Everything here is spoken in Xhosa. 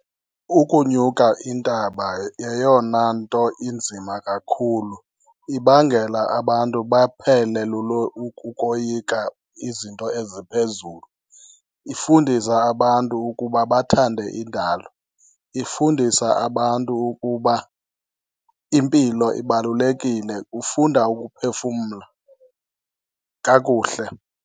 Ukunyuka intaba yeyona nto inzima kakhulu, ibangela abantu baphele ukoyika izinto eziphezulu. Ifundisa abantu ukuba bathande indalo, ifundisa abantu ukuba impilo ibalulekile, ufunda ukuphefumla kakuhle.